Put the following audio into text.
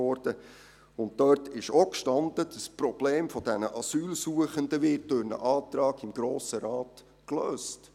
Darin stand auch, das Problem dieser Asylsuchenden werde durch einen Antrag im Grossen Rat gelöst.